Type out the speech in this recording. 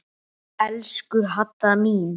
Elsku Hadda mín.